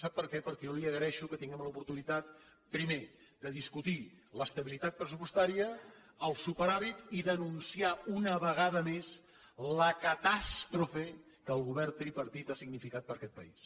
sap per què perquè jo li agraeixo que tinguem l’oportunitat primer de discutir l’estabilitat pressupostària el superàvit i denunciar una vegada més la catàstrofe que el govern tripartit ha significat per a aquest país